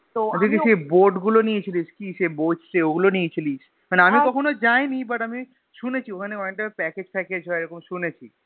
তুই কি সেই Boat গুলো নিয়েছিলিস কি সেই বসছে ওগুলো নিয়েছিলিস মানে আমি কখনো যাইনি But শুনেছি ওখানে অনেকটা Package package হয় এরম শুনেছি,